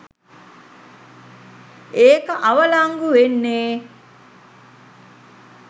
ඒක අවලංගු වෙන්නෙ